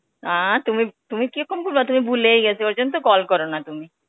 আ, তুমি তুমি কিরকম তুমি ভুলেই গেছ. ঐজন্যে তো call করোনা তুমি.